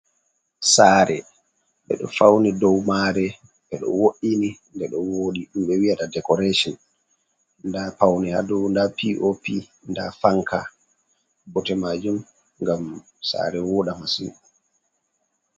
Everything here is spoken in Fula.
Saare ɓeɗo fauni dou mare ɓeɗo wo’ini nde ɗo wooɗi ɗum ɓe wiyata dekoration nda paune ha dou nda pop, nda fanka, bote majum ngam sare wooɗa masin.